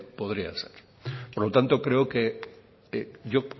podría ser por lo tanto creo que yo